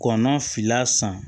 Kɔnɔnfila san